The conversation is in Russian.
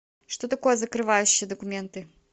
что такое закрывающие документы